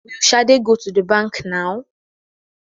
Will shade go to the bank now?